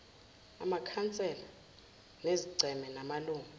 amakhansela ezigceme namalungu